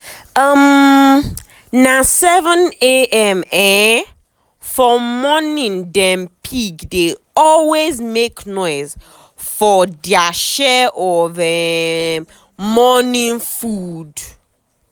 um na 7am um for morningdem pig dey always make noise for dia share of um morning food.